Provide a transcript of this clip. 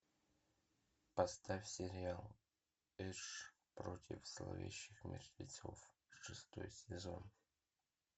поставь сериал эш против зловещих мертвецов шестой сезон